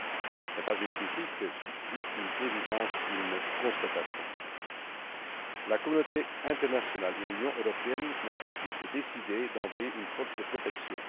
ce n'est pas une critique, juste une évidence, une constatation. La communauté internationale et l'Union européenne n'ont pas pu se décider à envoyer une force de protection.